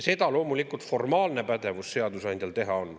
Loomulikult, seadusandjal formaalne pädevus seda teha on.